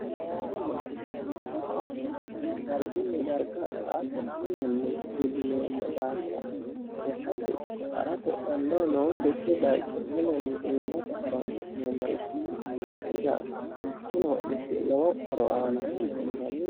Kunni hodhishino horo aanonkeri dargunni darga sa'ate mulenni iilineemo daafira lekkate ikko harate dandoo nonkeki bayicho mulenni iilate horoonsi'neemoricho ikanna kuyi daafira kunni hodhishi lowo horo aano yinne hendanni.